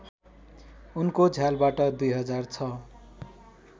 उनको झ्यालबाट २००६